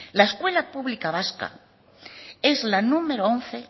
la escuela pública vasca es la número once